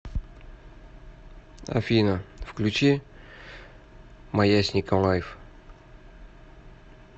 афина включи маясника лайв